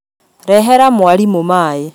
Rehera mwarimũmaĩ